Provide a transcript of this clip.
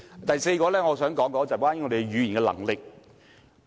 第四，我想談談我們的語言能力。